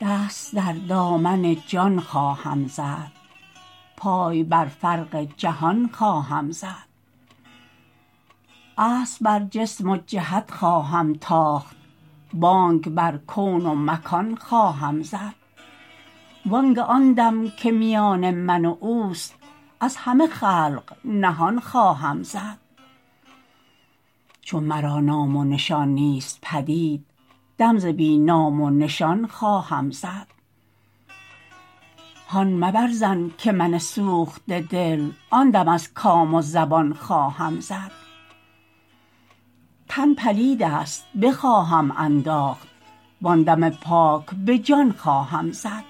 دست در دامن جان خواهم زد پای بر فرق جهان خواهم زد اسب بر جسم و جهت خواهم تاخت بانگ بر کون و مکان خواهم زد وانگه آن دم که میان من و اوست از همه خلق نهان خواهم زد چون مرا نام و نشان نیست پدید دم ز بی نام و نشان خواهم زد هان مبر ظن که من سوخته دل آن دم از کام و زبان خواهم زد تن پلید است بخواهم انداخت وان دم پاک به جان خواهم زد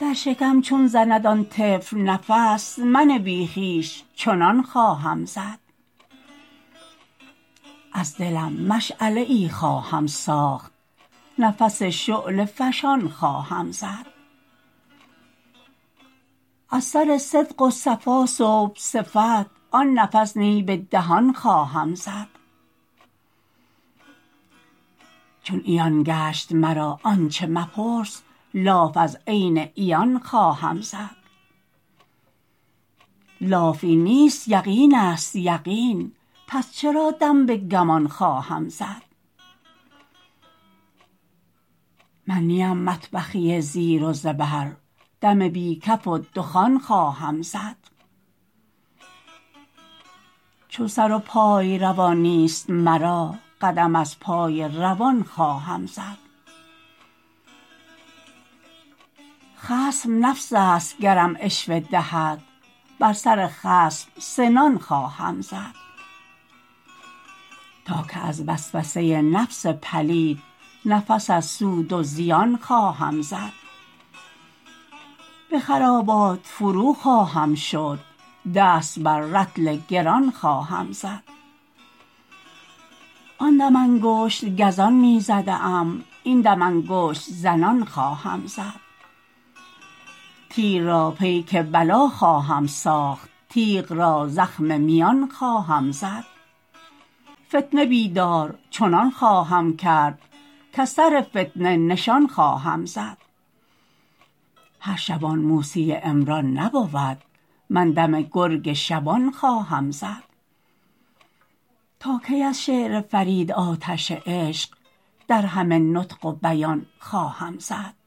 در شکم چون زند آن طفل نفس من بی خویش چنان خواهم زد از دلم مشعله ای خواهم ساخت نفس شعله فشان خواهم زد از سر صدق و صفا صبح صفت آن نفس نی به دهان خواهم زد چون عیان گشت مرا آنچه مپرس لاف از عین عیان خواهم زد لاف این نیست یقین است یقین پس چرا دم به گمان خواهم زد من نیم مطبخی زیر و زبر دم بی کفک و دخان خواهم زد چون سر و پای روان نیست مرا قدم از پای روان خواهم زد خصم نفس است گرم عشوه دهد بر سر خصم سنان خواهم زد تا کی از وسوسه نفس پلید نفس از سود و زیان خواهم زد به خرابات فرو خواهم شد دست بر رطل گران خواهم زد آن دم انگشت گزان می زده ام این دم انگشت زنان خواهم زد تیر را پیک بلا خواهم ساخت تیغ را زخم میان خواهم زد فتنه بیدار چنان خواهم کرد کز سر فتنه نشان خواهم زد هر شبان موسی عمران نبود من دم گرگ شبان خواهم زد تا کی از شعر فرید آتش عشق در همه نطق و بیان خواهم زد